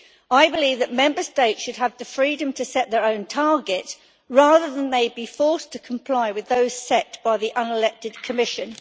I believe that Member States should have the freedom to set their own targets rather than being forced to comply with those set by the unelected Commission.